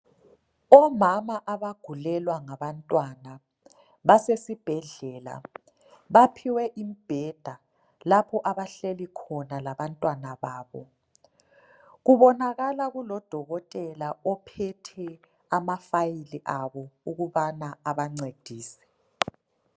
Omama abagulelwa ngabantwana basesibhedlela. Baphiwe imbheda lapho abahleli khona labantwana babo. Kubonakala kulodokotela ophethe amafayili abo ukubana abancedise.